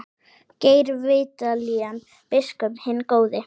Geir Vídalín biskup hinn góði.